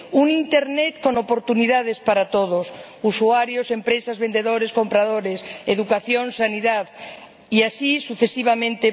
un Internet con oportunidades para todos usuarios, empresas, vendedores, compradores, educación, sanidad, y así sucesivamente.